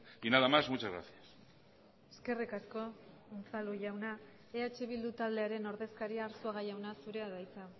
y nada más muchas gracias eskerrik asko unzalu jauna eh bildu taldearen ordezkaria arzuaga jauna zurea da hitza